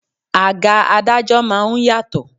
Àga adájọ́ máa ń yàtọ̀.